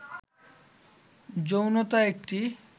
যৌনতা একটি